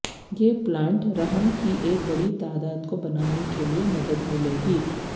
یہ پلانٹ رحم کی ایک بڑی تعداد کو بنانے کے لئے مدد ملے گی